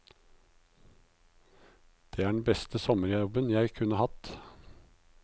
Det er den beste sommerjobben jeg kunne hatt!